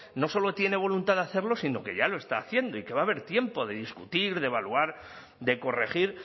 no solo tiene voluntad hacerlo sino que ya lo está haciendo y que va a haber tiempo de discutir de evaluar de corregir